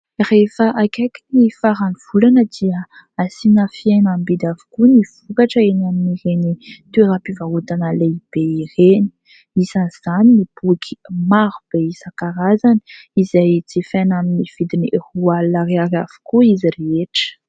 Rehefa akaiky ny farany volana dia asiana fihenam-bidy avokoa ny vokatra eny amin'ireny toeram-pivarotana lehibe ireny isany izany ny boky maro be isankarazany izay jifaina aminy vidiny roa alina ariary avokoa izy rehetra.